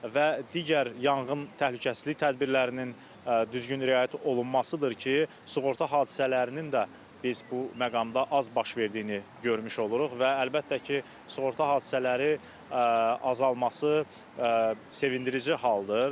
Və digər yanğın təhlükəsizlik tədbirlərinin düzgün riayət olunmasıdır ki, sığorta hadisələrinin də biz bu məqamda az baş verdiyini görmüş oluruq və əlbəttə ki, sığorta hadisələri azalması sevindirici haldır.